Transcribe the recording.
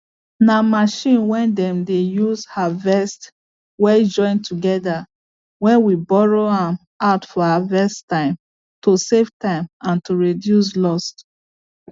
na machine way dem dey use harvest way join together way we borrow am out for harvest time to save time and to reduce loss